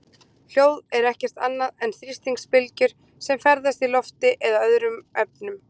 Hljóð er ekkert annað en þrýstingsbylgjur sem ferðast í lofti eða öðrum efnum.